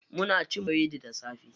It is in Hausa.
Muna cin biredi da safe.